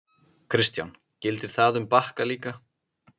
Kristján: Gildir það um Bakka líka?